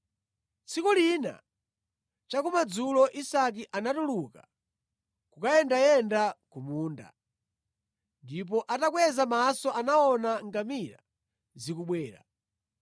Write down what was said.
Tsiku lina chakumadzulo, Isake anatuluka kukayendayenda ku munda, ndipo atakweza maso anaona ngamira zikubwera.